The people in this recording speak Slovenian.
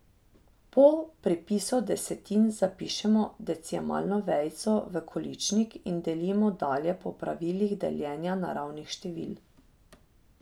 Po pripisu desetin zapišemo decimalno vejico v količnik in delimo dalje po pravilih deljenja naravnih števil.